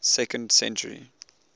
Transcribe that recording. second century